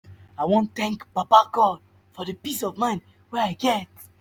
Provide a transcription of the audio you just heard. i wan tank baba god for di peace of mind wey i get.